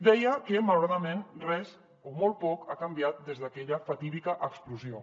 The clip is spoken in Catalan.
deia que malauradament res o molt poc ha canviat des d’aquella fatídica explosió